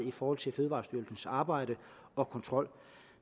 i forhold til fødevarestyrelsens arbejde og kontrol